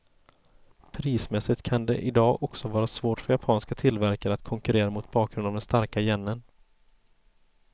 Prismässigt kan det i dag också vara svårt för japanska tillverkare att konkurrera mot bakgrund av den starka yenen.